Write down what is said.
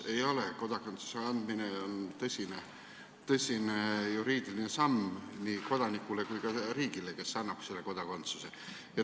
Ei ole, kodakondsuse andmine on tõsine juriidiline samm nii kodanikule kui ka riigile, kes annab selle kodakondsuse.